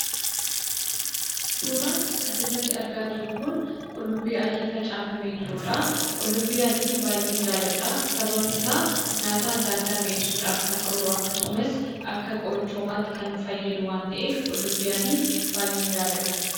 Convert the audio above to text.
Suuraan asirratti arginu kun qullubbii adii facaafamee jirudha. Qullubbii adii baay'een jaalladha sababni isaas nyaata adda addaa mi'eessuuf akkasumas akka qorichaatti kan nu fayyadu waan ta’eef, qulubbii adii baay'een jaalladha.